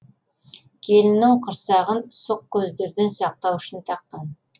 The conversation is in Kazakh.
келіннің құрсағын сұқ көздерден сақтау үшін таққан